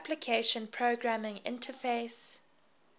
application programming interface